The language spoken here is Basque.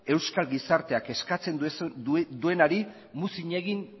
euskal gizarteak eskatzen duenari muzin egin